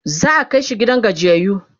za'a Kai shi gidan gajiyayyu